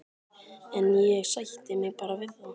En ég sætti mig bara við það.